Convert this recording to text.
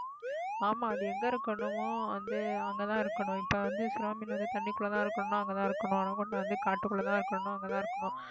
ஆமா அது எங்க இருக்கணுமோ வந்து அங்கதான் இருக்கணும் இப்ப வந்து சுறா மீன் வந்து தண்ணிக்குள்ளதான் இருக்கணும்னா அங்கதான் இருக்கணும் anaconda வந்து காட்டுக்குள்ளதான் இருக்கணும் அங்கதான் இருக்கணும்